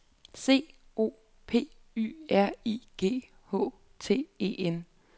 C O P Y R I G H T E N